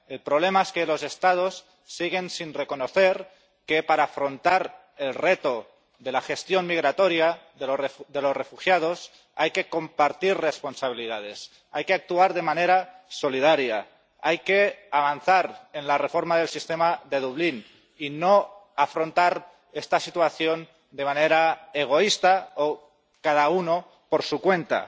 El problema es que los Estados siguen sin reconocer que, para afrontar el reto de la gestión migratoria de los refugiados, hay que compartir responsabilidades, hay que actuar de manera solidaria, hay que avanzar en la reforma del sistema de Dublín y no afrontar esta situación de manera egoísta o cada uno por su cuenta.